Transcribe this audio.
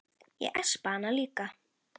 Ég espa hana líka.